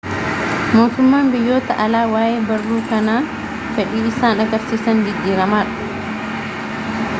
mootummaan biyyoota alaa waayee barruu kanaa fedhi isaan agarsiisan jijijjiiramaadha